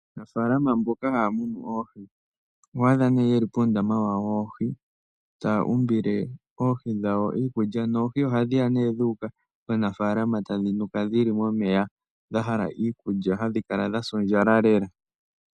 Aanafaalama mboka haya munu oohi, oho adha ne ye li puundama wawo woohi, taya umbile oohi dhawo iikulya, noohi ohadhi ya dhu uka komunafaalama tadhi nuka dhi li momeya, dha hala iikulya, hadhi kala dha sa ondjala lela.